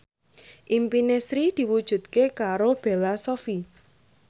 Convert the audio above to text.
impine Sri diwujudke karo Bella Shofie